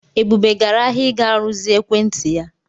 Ebube gara ahịa ịga rụzie ekwentị ya.